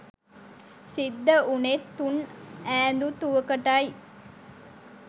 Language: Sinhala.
සිද්ධ වුණෙත් තුන් ඈඳුතුවකටයි.